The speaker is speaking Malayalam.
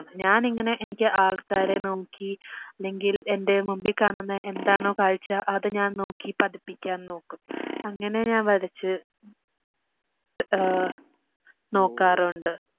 ഞാനിങ്ങനെ എനിക്ക് ആൾക്കാരെ നോക്കി ഇല്ലെങ്കിൽ എൻ്റെ മുമ്പി കാണുന്ന എന്താണോ കാഴ്ച അത് ഞാൻ നോക്കി പതിപ്പിക്കാൻ നോക്കും അങ്ങനെ ഞാൻ വരച്ച്‌ ആഹ്ഹ് നോക്കാറുണ്ട്